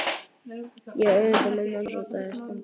Ekki öfunda ég mömmu hans af því standi